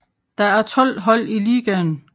Der er 12 hold i ligaen